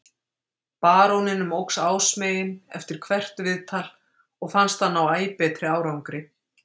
Baróninum óx ásmegin eftir hvert viðtal og fannst hann ná æ betri árangri.